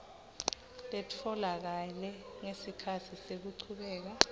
letfolakele ngesikhatsi sekuchubeka